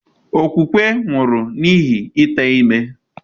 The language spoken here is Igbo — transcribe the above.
Okwukwe nwụrụ n'ihi ite ime.